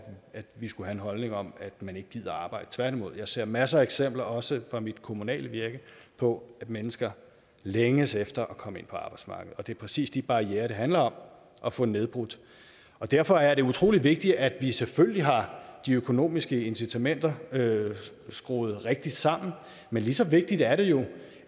vi skulle have en holdning om at man ikke gider arbejde tværtimod ser jeg masser af eksempler også fra mit kommunale virke på at mennesker længes efter at komme ind på arbejdsmarkedet det er præcis de barrierer det handler om at få nedbrudt derfor er det utrolig vigtigt at vi selvfølgelig har de økonomiske incitamenter skruet rigtigt sammen men lige så vigtigt er det jo